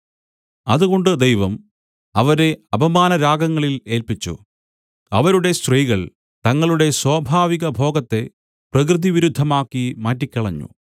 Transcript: അതുകൊണ്ട് ദൈവം അവരെ അപമാനരാഗങ്ങളിൽ ഏല്പിച്ചു അവരുടെ സ്ത്രീകൾ തങ്ങളുടെ സ്വാഭാവികഭോഗത്തെ പ്രകൃതിവിരുദ്ധമാക്കി മാറ്റിക്കളഞ്ഞു